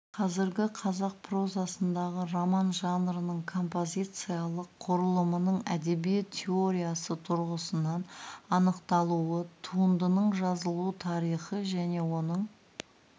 қазіргі қазақ прозасындағы роман жанрының композициялық құрылымының әдебиет теориясы тұрғысынан анықталуы туындының жазылу тарихын және оның